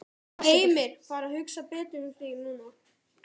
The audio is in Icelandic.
Heimir: Fara að hugsa betur um þig núna?